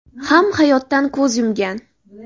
ham hayotdan ko‘z yumgan.